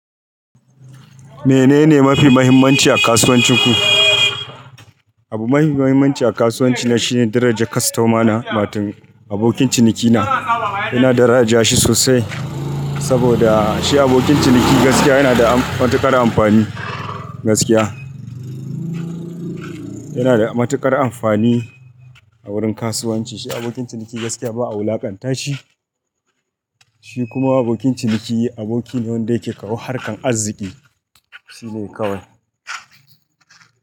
Menene mafi muhimmanci a kasuwancin ku? Abu mafi muhimmanci a kasuwanci na, shine darajar kostomana, watan abokin cinikina. Ina daraja shi sosai saboda shi abokin ciniki gaskiya yana da matuƙar amfani gaskiya. Yana da matuƙar amfani a wurin kasuwanci. Shi, abokin ciniki gaskiya ba'a wulakanta shi. Shi kuma abokin ciniki, aboki ne wanda yake kawo harkan arziki. Shi ne kawai.